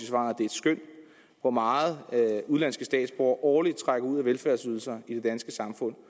hvor meget udenlandske statsborgere årligt trækker ud af velfærdsydelser i det danske samfund